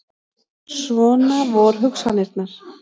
Svona vor hugsanirnar.